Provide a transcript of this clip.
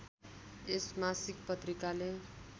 यस मासिक पत्रिकाले